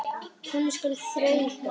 Hann skal þrauka.